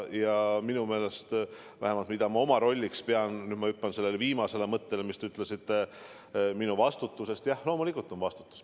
Vähemalt see, mida ma oma rolliks pean – nüüd ma hüppan sellele viimasele mõttele, mis te ütlesite minu vastutuse kohta –, on loomulikult vastutus.